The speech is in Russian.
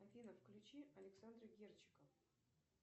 афина включи александра герчика